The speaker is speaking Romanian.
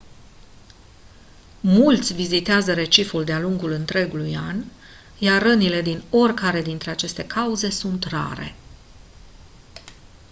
mulți vizitează reciful de-a lungul întregului an iar rănile din oricare dintre aceste cauze sunt rare